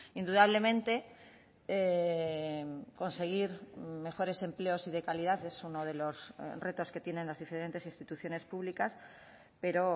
indudablemente conseguir mejores empleos y de calidad es uno de los retos que tienen las diferentes instituciones públicas pero